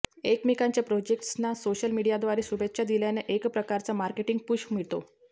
एकमेकांच्या प्रोजेक्ट्सना सोशल मीडियाद्वारे शुभेच्छा दिल्यानं एकप्रकारचा मार्केटिंग पुश मिळतो